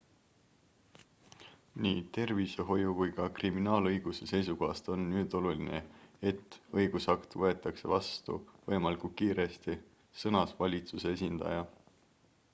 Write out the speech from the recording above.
"""nii tervishoiu kui ka kriminaalõiguse seisukohast on nüüd oluline et õigusakt võetakse vastu võimalikult kiiresti," sõnas valitsuse esindaja.